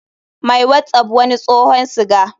My whatsapp wani tsohon siga.